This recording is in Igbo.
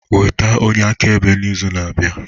Weta onye akaebe n'izu na-abịa